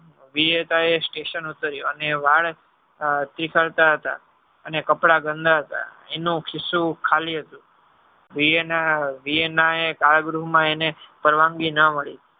બેયેતાંયે station ઉતારિયો અને વાળ નીકળતા હતા અને કપડાં ગંદા હતા એનું ખિશુ ખાલી હતું વિયાના વિયાના કલ ગૃહ માં એને પરવાનગી ના મળી.